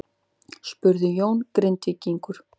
spurði Jón Grindvíkingur.